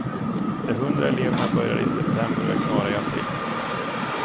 De hundra eleverna började i septemer och är klara i april.